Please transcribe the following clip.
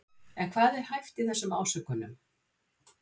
En hvað er hæft í þessum ásökunum?